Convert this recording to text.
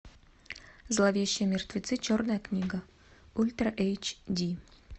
зловещие мертвецы черная книга ультра эйч ди